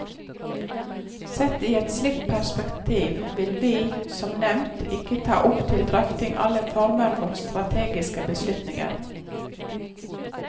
Sett i et slikt perspektiv vil vi, som nevnt, ikke ta opp til drøfting alle former for strategiske beslutninger.